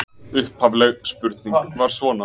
Upphafleg spurning var svona: